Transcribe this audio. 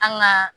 An ka